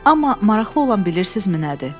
Amma maraqlı olan bilirsizmi nədir?